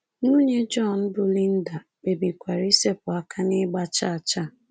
Nwunye John, bụ́ Linda, kpebikwara isepụ aka n’ịgba chaa chaa.